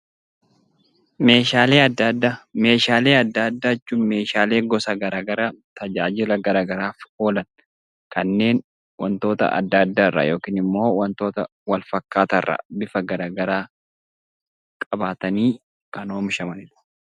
Meeshaalee addaa addaa Meeshaalee addaa addaa jechuun gosa garaagaraa tajaajila garaagaraaf oolan, kanneen waantota addaa addaa irraa yookiin waantota wal fakkaataa irraa bifa garaagaraa qabatanii kan oomishamanidha.